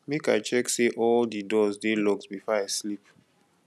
make i check say all di doors dey locked before i sleep